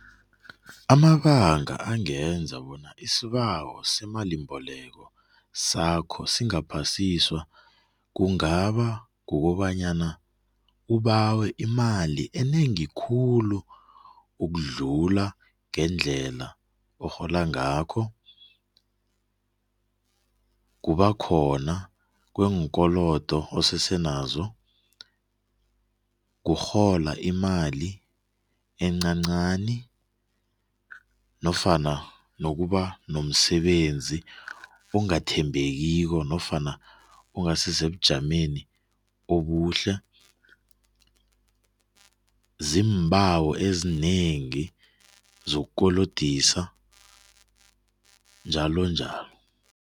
Amabanga angenza bona isibawo semalimbeleko sakho singaphasiswa kungaba kukobanyana ubawe imali enengi khulu ukudlula ngendlela orhola ngakho, kubakhona kweenkolodo osesenazo, kurhola imali encancani nofana nokuba nomsebenzi ongathembekiko nofana ongasiebujameni obuhle, zimbawo ezinengi zokukolodisa njalo njalo.